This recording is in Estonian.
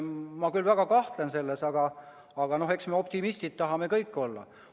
Ma väga kahtlen selles, aga eks me kõik tahame optimistid olla.